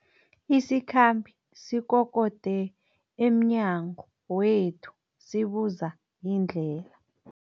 Isikhambi sikokode emnyango wethu sibuza indlela.